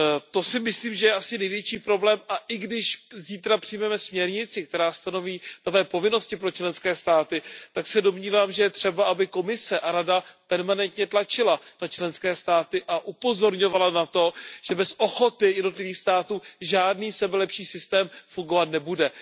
To si myslím, že je asi největší problém, a i když zítra přijmeme směrnici, která stanoví nové povinnosti pro členské státy, tak se domnívám, že je třeba, aby Komise a Rada permanentně tlačily na členské státy a upozorňovaly na to, že bez ochoty jednotlivých států žádný sebelepší systém fungovat nebude.